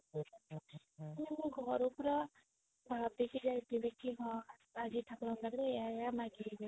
ମୁଁ ଘରୁ ପୁରା ଭାବିକି ଯାଈଥିବି କି ହଁ ଆଜି ଠାକୁର ଙ୍କ ପାଖରେ ଏଇୟା ଏଇୟା ମାଗିବି